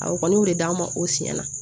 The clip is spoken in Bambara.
Awɔ n y'o de d'a ma o siɲɛ na